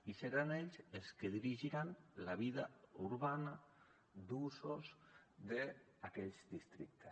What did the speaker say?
i seran ells els que dirigiran la vida urbana d’usos d’aquells districtes